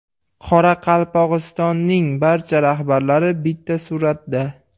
Qoraqalpog‘istonning barcha rahbarlari bitta suratda.